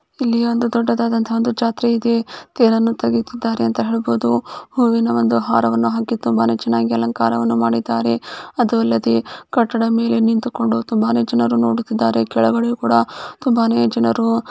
ಇಲ್ಲಿ ಒಂದು ದೊಡ್ಡದದಂತ ಒಂದು ಜಾತ್ರೆ ಇದೆ ತೆರನ್ನ ತೆಗೆತಿದರೆ ಅಂತ ಹೇಳಬಹುದು ಹೂವಿನ ಒಂದು ಹಾರವನ್ನು ಹಾಕಿ ತುಂಬಾನೆ ಚನ್ನಾಗಿ ಅಲಂಕಾರವನ್ನು ಮಾಡಿದ್ದಾರೆ ಅದು ಅಲ್ಲದೆ ಕಟ್ಟಡ ಮೇಲೆ ನಿಂತುಕೊಂಡು ತುಂಬಾ ಜನ ನೋಡುತಿದ್ದಾರೆ ಕೆಳಗಡೆ ಕೂಡ ತುಂಬಾನೆ ಜನರು--